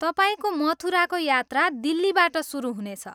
तपाईँको मथुराको यात्रा दिल्लीबाट सुरु हुनेछ।